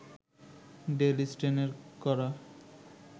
del স্টেইনের করা